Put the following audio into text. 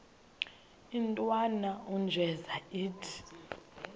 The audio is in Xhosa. intwana unjeza ithi